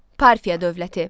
Parfiya dövləti.